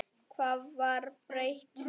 Hvað var breytt?